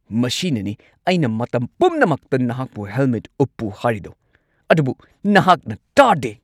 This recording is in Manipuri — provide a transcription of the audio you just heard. ꯃꯁꯤꯅꯅꯤ ꯑꯩꯅ ꯃꯇꯝ ꯄꯨꯝꯅꯃꯛꯇ ꯅꯍꯥꯛꯄꯨ ꯍꯦꯜꯃꯦꯠ ꯎꯞꯄꯨ ꯍꯥꯏꯔꯤꯗꯣ, ꯑꯗꯨꯕꯨ ꯅꯍꯥꯛꯅ ꯇꯥꯗꯦ꯫